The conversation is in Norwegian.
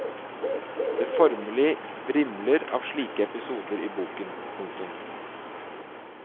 Det formelig vrimler av slike episoder i boken. punktum